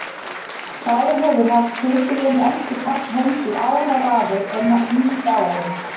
Sá sem hefur haft titilinn elsti karl heims í áraraðir er nýdáinn.